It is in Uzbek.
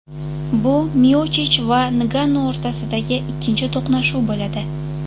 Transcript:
Bu Miochich va Ngannu o‘rtasidagi ikkinchi to‘qnashuv bo‘ladi.